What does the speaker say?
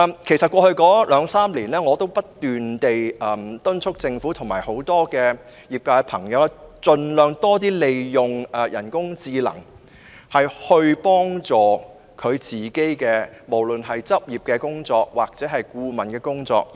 其實，在過去兩三年，我已不斷敦促政府及業界朋友盡量利用人工智能，協助處理執業或顧問方面的工作。